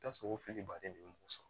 I bi t'a sɔrɔ o fili baden de bɛ mɔgɔ sɔrɔ